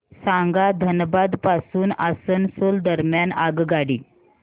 सांगा धनबाद पासून आसनसोल दरम्यान आगगाडी